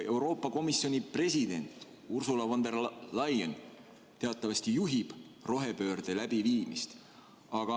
Euroopa Komisjoni president Ursula von der Leyen teatavasti juhib rohepöörde läbiviimist.